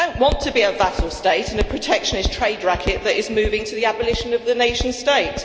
We don't want to be a vassal state in a protectionist trade racket that is moving to the abolition of the nation state.